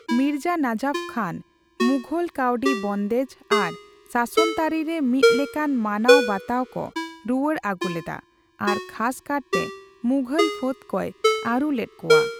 ᱢᱤᱨᱡᱟ ᱱᱟᱡᱟᱯᱷ ᱠᱷᱟᱱ ᱢᱩᱜᱷᱚᱞ ᱠᱟᱹᱣᱰᱤ ᱵᱚᱱᱫᱮᱡᱽ ᱟᱨ ᱥᱟᱥᱚᱱᱛᱟᱹᱨᱤ ᱨᱮ ᱢᱤᱫ ᱞᱮᱠᱟᱱ ᱢᱟᱱᱟᱣ ᱵᱟᱛᱟᱣᱠᱚ ᱨᱩᱣᱟᱹᱲ ᱟᱹᱜᱩ ᱞᱮᱫᱟ ᱟᱨ ᱠᱷᱟᱥ ᱠᱟᱨᱛᱮ ᱢᱩᱜᱷᱚᱞ ᱯᱷᱟᱹᱫ ᱠᱚᱭ ᱟᱹᱨᱩ ᱞᱮᱫ ᱠᱚᱣᱟ ᱾